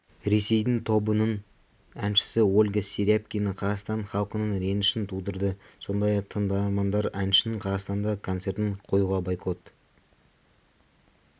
ресейдің тобының әншісі ольга серябкина қазақстан халқының ренішін тудырды сондай-ақ тыңдармандар әншінің қазақстанда концертін қоюға байкот